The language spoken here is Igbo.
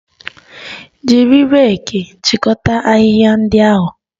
Jiri reeki chịkọta ahịhịa ndị ahụ!